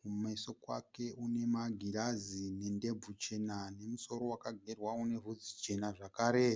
Kumeso kwake kune magirazi nendebvu chena nemusoro wakagerwa une bvudzi jena zvakare.